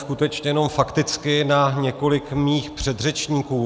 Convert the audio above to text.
Skutečně jenom fakticky na několik mých předřečníků.